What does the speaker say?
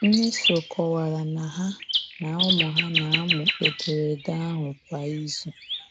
Mmeso kọwara na ha na ụmụ ha na-amụ ederede ahụ kwa izu..